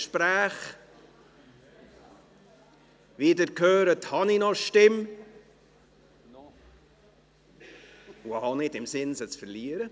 Wie Sie hören, habe ich noch eine Stimme, und ich habe auch nicht im Sinn, sie zu verlieren.